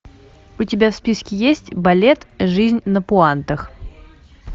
у тебя в списке есть балет жизнь на пуантах